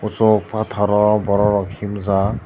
so pathor o borok rok himjak.